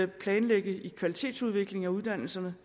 planlægge i kvalitetsudvikling af uddannelserne